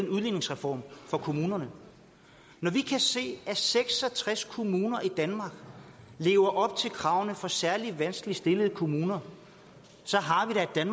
udligningsreform for kommunerne når vi kan se at seks og tres kommuner i danmark lever op til kravene for særlig vanskeligt stillede kommuner så